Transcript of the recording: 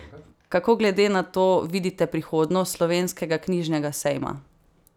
Kako glede na to vidite prihodnost Slovenskega knjižnega sejma?